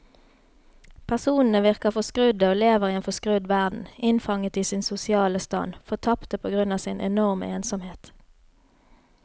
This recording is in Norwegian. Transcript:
Personene virker forskrudde og lever i en forskrudd verden, innfanget i sin sosiale stand, fortapte på grunn av sin enorme ensomhet.